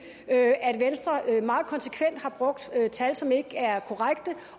at venstre meget konsekvent har brugt tal som ikke er korrekte